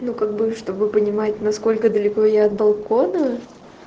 ну как бы чтобы понимать насколько далеко я от балкона